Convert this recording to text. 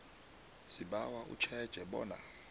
sibawa utjheje bona